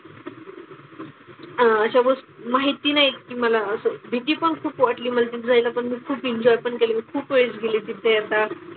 अह अशा गोष माहिती नाही की मला असं भीती पण खूप वाटली म्हणजे जायला पण खूप एन्जॉय पण केली मी. खूप वेळेस गेली तिथे आता.